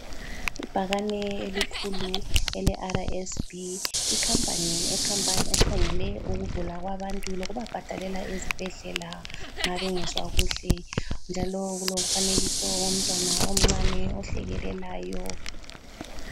Ibhakane elikhulu ele-RSB, ikhampani ekhangele ukugula kwabantu lokubabhadalela ezibhedlela nxa bengezwa kuhle, njalo kulomfanekiso womntwana omncane ohlekelelayo.